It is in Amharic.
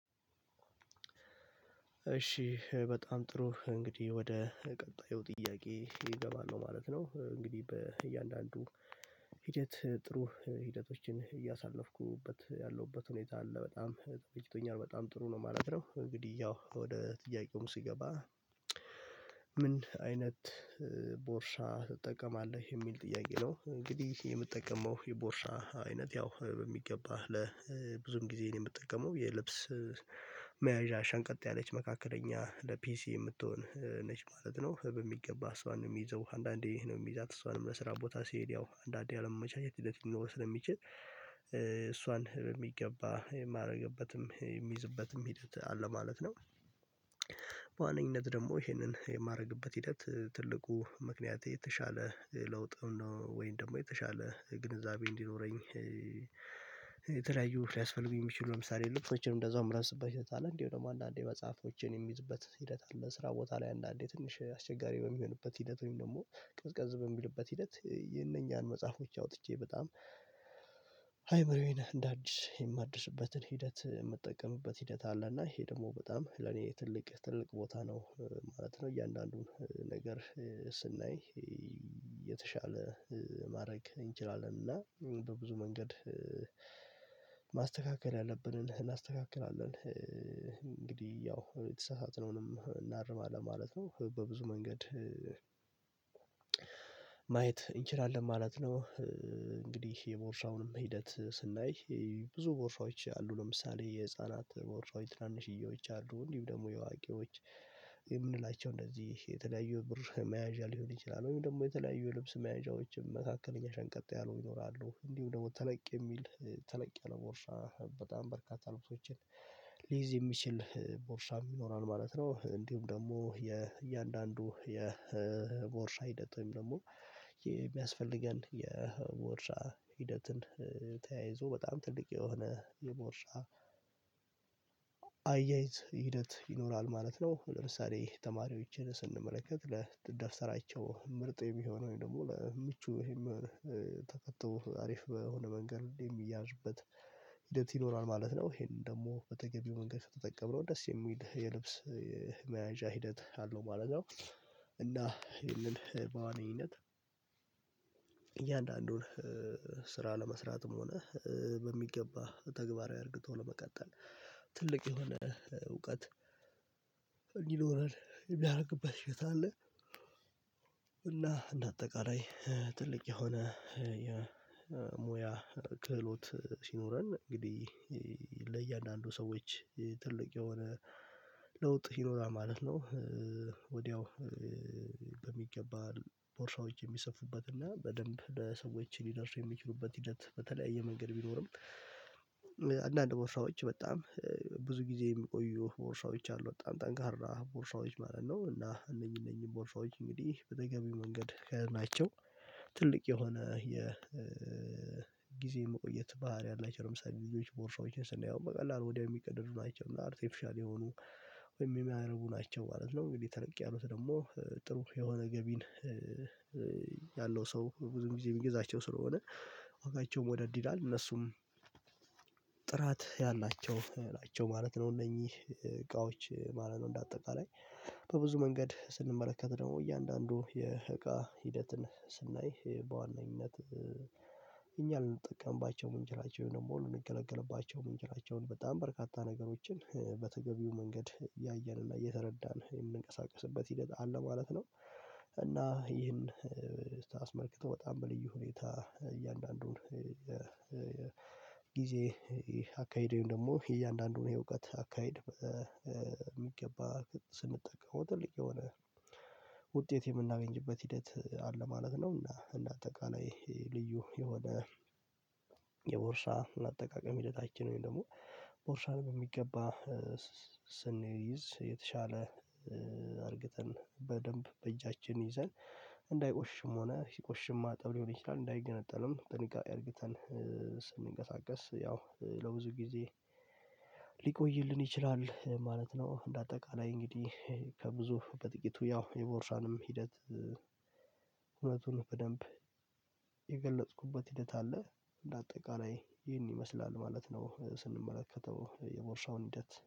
እሺ ኧ በጣም ጥሩ። እንግዲህ ወደ ቀጣዪ ጥያቄ እገባለሁ ማለት ነው። እንግዲህ በእያንዳንዱ ሂደት ጥሩ ሂደቶችን እያሳለፍኩበት ያለውበት ሁኔታ አለ። በጣም ተመችቶኛል፣ በጣም ጥሩ ነው ማለት ነው። እንግዲህ ያው ወደ ጥያቄውም ሲገባ ምን አይነት ቦርሳ ትጠቀማለህ? የሚል ጥያቄ ነው። እንግዲህ የምጠቀመው የቦርሳ አይነት ያው በሚገባ ለ ብዙን ጊዜዬን የምጠቀመው የልብስ መያዣ ሸንቀጥ ያለች፣ መካከለኛ፣ ለፒሲ የምትሆን ነች ማለት ነው። በሚገባ እሷን ነው ሚይዘው አንዳንዴ ነው ሚይዛት። እሷንም ለስራ ቦታ ሲሄድ። ያው አንዳንዴ አለመመቻቸት ሂደት ሊኖረው ስለሚችል ኧ እሷን በሚገባ የማረግበትም፣ የሚዝበትም ሂደት አለ ማለት ነው። በዋነኝነት ደሞ ይሄንን የማረግበት ሂደት ትልቁ ምክንያት የተሻለ ለውጥም ነው ወይን ደሞ የተሻለ ግንዛቤ እንዲኖረኝ የተለያዩ ሊያስፈልጉ የሚችሉ ለምሳሌ ልብሶችንም እንደዛው ምለብስበት ሂደት አለ። እንዲሁ አንዳንዴ መጽሐፎችን የምይዝበት ሂደት አለ። ስራ ቦታ ላይ አንዳንዴ ትንሽ አስቸጋሪ በሚሆንበት ሂደት ወይም ደሞ ቀዝቀዝ በሚልበት ሂደት ኧ የነኛን መጽሐፎች አውጥቼ በጣም አይምሮዬን እንዳድስ፣ የማድስበትን ሂደት ምጠቀምበት ሂደት አለ። እና ይሄ ደግሞ በጣም ለኔ ትልቅ ትልቅ ቦታ ነው ማለት ነው። እያንዳንዱን ነገር ስናይ የተሻለ እ ማረግ እንችላለን እና በብዙ መንገድ እ ማስተካከል ያለብንን እናስተካክላለን። እ እንግዲህ ያው የተሳሳትነውንም እናርማለን ማለት ነው። በብዙ መንገድ ማየት እንችላለን ማለት ነው። እንግዲህ የቦርሳውንም ሂደት ስናይ ብዙ ቦርሳዎች አሉ። ለምሳሌ የህፃናት ቦርሳዎች ትናንሽዬዎች አሉ። እንዲሁ ደሞ የዋቂዎች የምንላቸው እንደዚህ የተለያዩ ብር መያዣ ሊሆን ይችላል። ወይም ደግሞ የተለያዩ ልብስ መያዣዎችም መካከለኛ ሸንቀጥ ያሉ ይኖራሉ። እንዲሁ ደሞ ተለቅ የሚል ተለቅ ያለ ቦርሳ በጣም በርካታ ልብሶችን ሊይዝ የሚችል ቦርሳም ይኖራል ማለት ነው። እንዲሁም ደግሞ የእያንዳንዱ የቦርሳ ሂደት ወይም ደግሞ የሚያስፈልገን የቦርሳ ሂደትን ኧ ተያይዞ በጣም ትልቅ የሆነ የቦርሳ አያይዝ ሂደት ይኖራል ማለት ነው። ለምሳሌ ተማሪዎችን ስንመለከት ለደፍሰራቸው ምርጥ የሚሆነው ወይም ደግሞ ለምቹ ወይም ተከቶ አሪፍ በሆነ መንገድ ሁሌ ሚያዥበት ሂደት ይኖራል ማለት ነው። ይሄንን ደሞ በተገቢው መንገድ ስትጠነው ደስ የሚል የልብስ የመያዣ ሂደት አለው ማለት ነው። እና ይሄንን በዋንኛነት እያንዳንዱን ኧ ስራ ለመስራትም ሆነ እ በሚገባ ተግባራዊ አርግቶ ለመቀጠል ትልቅ የሆነ እውቀት እንዲኖረን የሚረግበት ሂደት አለ። እና እንደ አጠቃላይ ኧ ትልቅ የሆነ ኧ የሙያ ክህሎት ሲኖረን እንግዲህ ኢ ለያንዳንዱ ሰዎች ትልቅ የሆነ ለውጥ ይኖራል ማለት ነው። እ ወዲያው እ ቦርሳዎች የሚሰፉበትና በደንብ ለሰዎች ሊደርሱ የሚችሉበት ሂደት በተለያየ መንገድ ቢኖርም። እ አንዳንድ ቦርሳዎች በጣም ኧ ብዙ ጊዜ ሚቆዩ ቦርሳዎች አሉ። በጣም ጠንካራ ቦርሳዎች ማለት ነው። እና እነኚ እነኚን ቦርሳዎች እንግዲህ በተገቢው መንገድ ከ ናቸው ትልቅ የሆነ የ እ ጊዜ መቆየት ባሀሪ አላቸው። ለምሳሌ ልጆች ቦርሳዎችን ስናየው በቀላሉ ወዲያው የሚቀደዱ ናቸው። እና አርቴፊሻል የሆኑ ወይም የሚረጉ ናቸው ማለት ነው። እንግዲህ ተለቅ ያሉት ደሞ ጥሩ የሆነ ገቢን እ ሰው ብዙም ጊዜ ሚገዛቸው ስለሆነ ዋጋቸውም ወደድ ይላል። እነሱም ጥራት ያላቸው ናቸው ማለት ነው። እነኚ እቃዎች ማለት ነው። እንደ አጠቃላይ በብዙ መንገድ ስንመለከት ደሞ እያንዳንዱ የእቃ ሂደትን ስናይ እ በዋነኝነት እ እኛ ልንጠቀምባቸው ምንላቸው ወይም ደሞ ልንገለገልባቸው ምንችላቸውን በጣም በርካታ ነገሮችን እ በተገቢው መንገድ ያየንና የተረዳን የምንቀሳቀስበት ሂደት አለ ማለት ነው። እና ይህን እ ታአስመልክተው በጣም በልዩ ሁኔታ ኧ እያንዳንዱን እ ኧ እ ጊዜ ኤ አካሄድ ወይም ደግሞ የእያንዳንዱን የእውቀት አካሄድ ኧ ኧ ሚገባ ስንጠቀመው ጥልቅ የሆነ ውጤት የምናገኝበት ሂደት አለ ማለት ነው። እና እንዳጠቃላይ ልዩ የሆነ የቦርሳ አጠቃቀም ሂደታችን ወይም ደግሞ ቦርሳን በሚገባ ኧ ስንይዝ የተሻለ እ አርግተን በደንብ በእጃችን ይዘን እንዳይቆሽሽም ሆነ ሲቆሽሽም ማጠብ ሊሆን ይችላል። እንዳይገነጠልም ጥንቃቄ አርግተን እ ስንቀሳቀሰስ ያው ለብዙ ጊዜ ሊቆይልን ይችላል እ ማለት ነው። እንዳጠቃላይ እንግዲህ ከብዙ በጥቂቱ ያው የቦርሳንም ሂደት እ እውነቱን በደንብ የገለጽኩበት ሂደት አለ። እንዳጠቃላይ ይህን ይመስላል ማለት ነው። ስንመለከተው የቦርሳውን ሂደትደ